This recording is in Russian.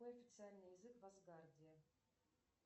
какой официальный язык в асгарде